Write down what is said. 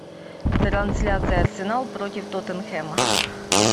трансляция арсенал против тоттенхэма